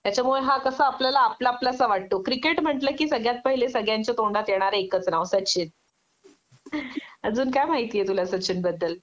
त्याच्यामुळे हा कस आपल्यलाला आपला आपलासा वाटतो क्रिकेट म्हटलं कि सगळ्यात पहिले सगळ्यांच्या तोंडात येणार एकच नाव सचिन.अजून काय माहिती आहे तुला सचिनबद्दल